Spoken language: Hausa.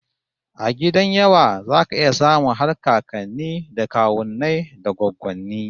A gidan yawa zaka iya samun har kakanni da kawunnai da goggonni